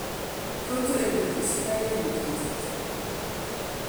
rutu eng betusiek oeng' ketit